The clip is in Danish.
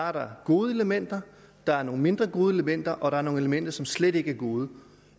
er der gode elementer der er nogle mindre gode elementer og der er nogle elementer som slet ikke er gode